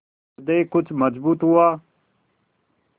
हृदय कुछ मजबूत हुआ